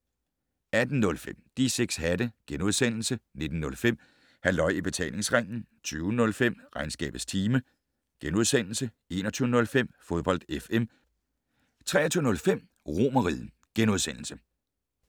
18:05: De 6 hatte * 19:05: Halløj I Betalingsringen 20:05: Regnskabets time * 21:05: Fodbold FM 23:05: Romerriget *